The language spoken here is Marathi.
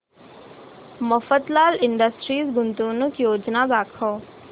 मफतलाल इंडस्ट्रीज गुंतवणूक योजना दाखव